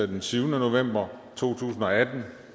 den syvende november to tusind og atten